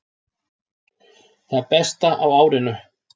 Það besta á árinu